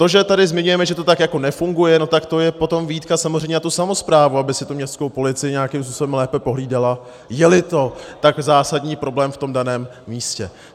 To, že tady zmiňujeme, že to tak jako nefunguje, tak to je potom výtka samozřejmě na tu samosprávu, aby si tu městskou policii nějakým způsobem lépe pohlídala, je-li to tak zásadní problém v tom daném místě.